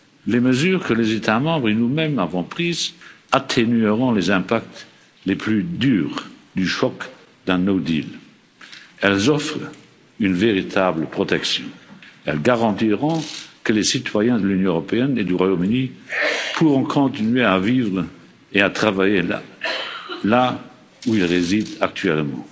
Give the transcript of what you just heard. Les mesures que les États membres et nous mêmes avons prises atténueront les conséquences les plus rudes du choc d'un no deal Elles offrent une véritable protection elles garantiront que les citoyens de l'Union européenne et du Royaume Uni pourront continuer à vivre et à travailler là où ils résident actuellement.